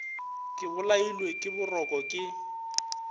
ke bolailwe ke boroko ke